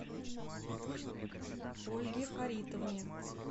ольге фаритовне